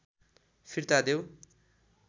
फिर्ता देऊ